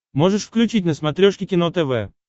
можешь включить на смотрешке кино тв